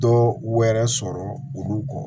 Dɔ wɛrɛ sɔrɔ olu kɔ